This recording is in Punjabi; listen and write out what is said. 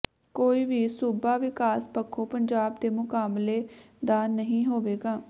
ਕੋਈ ਵੀ ਸੂਬਾ ਵਿਕਾਸ ਪੱਖੋਂ ਪੰਜਾਬ ਦੇ ਮੁਕਾਬਲੇ ਦਾ ਨਹੀਂ ਹੋਵੇਗਾ